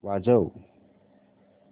वाजव